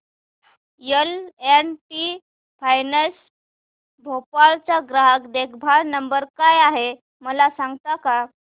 L and T finance Bhopal चा ग्राहक देखभाल नंबर काय आहे मला सांगता का